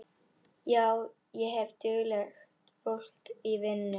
Já, ég hef duglegt fólk í vinnu.